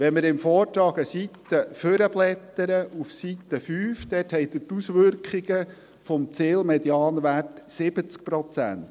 Wenn wir im Vortrag eine Seite nach vorne blättern, zur Seite 5, finden wir dort die Auswirkungen des Zielmedianwerts 70 Prozent.